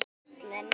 Fyrir föllin